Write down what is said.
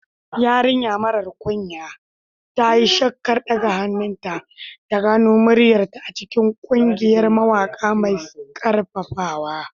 Yarinya mara kunya, ta yi shakkar ɗaga hannunta, ta gano muryarta a cikin ƙungiyar mawaƙa mai ƙarfafawa.